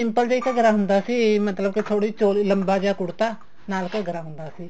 simple ਜਾ ਘੱਗਰਾ ਹੁੰਦਾ ਸੀ ਮਤਲਬ ਕੇ ਥੋੜੀ ਜੀ ਚੋਲੀ ਲੰਬਾ ਜਾ ਕੁੜਤਾ ਨਾਲ ਘੱਗਰਾ ਹੁੰਦਾ ਸੀ